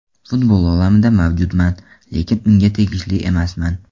Futbol olamida mavjudman, lekin unga tegishli emasman”.